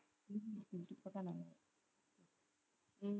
உம்